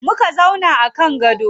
Muka zauna a kan gado.